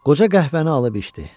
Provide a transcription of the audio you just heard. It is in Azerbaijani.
Qoca qəhvəni alıb içdi.